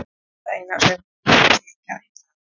Það eina sem hún talar um er Grænland.